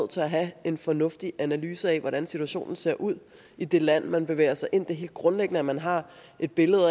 til at have en fornuftig analyse af hvordan situationen ser ud i det land man bevæger sig ind er helt grundlæggende at man har et billede